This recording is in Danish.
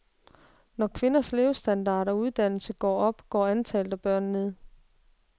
Når kvinders levestandard og uddannelse går op, går antallet af børn ned.